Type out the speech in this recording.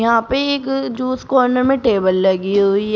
वहां पे एक जूस कॉर्नर में टेबल लगी हुई है।